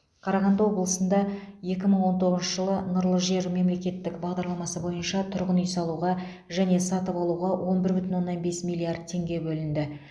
қарағанды облысында екі мың он тоғызыншы жылы нұрлы жер мемлекеттік бағдарламасы бойынша тұрғын үй салуға және сатып алуға он бір бүтін оннан бес миллиард теңге бөлінді